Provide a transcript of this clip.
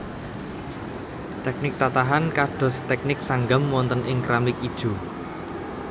Teknik tatahan kados teknik sanggam wonten ing keramik ijo